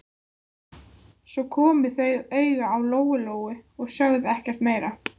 Svo komu þau auga á Lóu-Lóu og sögðu ekkert meira.